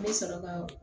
N bɛ sɔrɔ ka